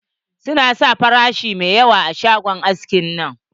Su na sa farashi mai yawa a shagon haskin nan.